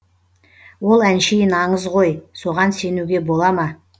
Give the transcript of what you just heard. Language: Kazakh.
ол әншейін аңыз ғой соған сенуге бола ма